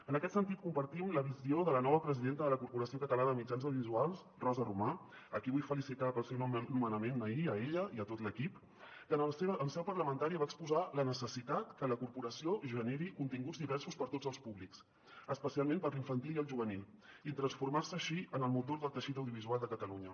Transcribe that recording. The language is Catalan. en aquest sentit compartim la visió de la nova presidenta de la corporació ca·talana de mitjans audiovisuals rosa romà a qui vull felicitar pel seu nomenament ahir a ella i a tot l’equip que en seu parlamentària va exposar la necessitat que la corporació generi continguts diversos per a tots els públics especialment per a l’infantil i el juvenil i transformar·se així en el motor del teixit audiovisual de ca·talunya